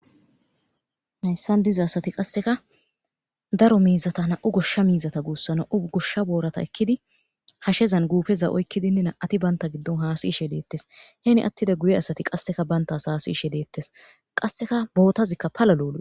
Hayssan dizi asati qasseka daro miizata na'u gushsha miizata guussa na'u gushsha boorata ekkidi hashezan guufeza oykkidinne na'ati banta giddon haasi ishe leettes heeni attida guye asati qasseka bayntas haasi ishe leettes qasseka bootazikka pala loou.